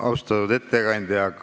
Austatud ettekandja!